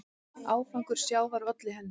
Ágangur sjávar olli henni.